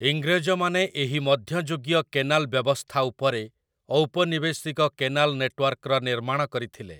ଇଂରେଜମାନେ ଏହି ମଧ୍ୟଯୁଗୀୟ କେନାଲ ବ୍ୟବସ୍ଥା ଉପରେ ଔପନିବେଶିକ କେନାଲ ନେଟୱାର୍କର ନିର୍ମାଣ କରିଥିଲେ ।